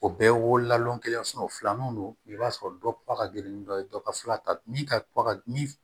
O bɛɛ ye wo lalon kelen o filanan don i b'a sɔrɔ dɔ pa ka gelen ni dɔ ye dɔ ka fila ta min ka min